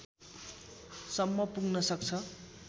सम्म पुग्न सक्छ